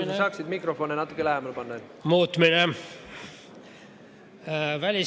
Kas saaksid mikrofoni natuke endale lähemale panna?